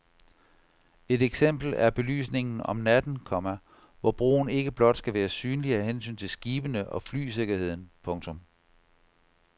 Et eksempel er belysningen om natten, komma hvor broen ikke blot skal være synlig af hensyn til skibene og flysikkerheden. punktum